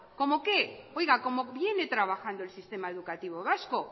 cómo qué oiga como viene trabajando el sistema educativo vasco